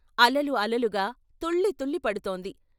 అలలు అలలుగా తుళ్లి తుళ్లి పడుతోంది.